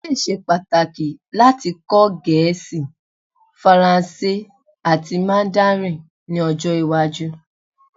O le ṣe pataki lati kọ Gẹẹsi, Faranse ati Mandarin ni ọjọ iwaju